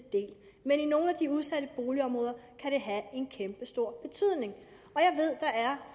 men i nogle af de udsatte boligområder kan det have en kæmpestor betydning